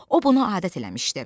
O bunu adət eləmişdi.